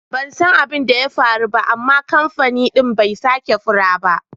Ban san abin da ya faru ba amma kamfain din bai sake faru ba.